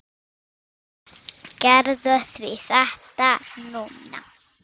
Gerðu þetta því núna!